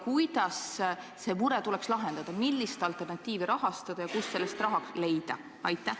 Kuidas see mure tuleks lahendada, millist alternatiivi tuleks rahastada ja kust selleks raha leida?